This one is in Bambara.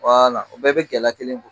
o bɛɛ bɛ gɛlɛ kelen bɔ